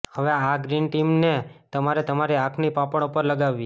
હવે આ ગ્રીન ટીને તમારે તમારી આંખની પાપણો પર લગાવવી